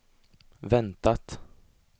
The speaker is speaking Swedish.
väntat